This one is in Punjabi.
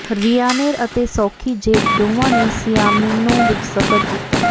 ਰਿਆਨਏਰ ਅਤੇ ਸੌਖੀ ਜੇਟ ਦੋਵਾਂ ਨੇ ਸੀਆਮਿੰਨੋ ਵਿਚ ਸਫ਼ਰ ਕੀਤਾ